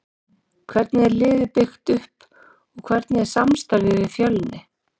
Hvernig er liðið byggt upp og hvernig er samstarfið við Fjölni?